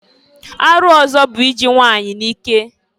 Arụ ọzọ bụ iji nwanyị n'ike.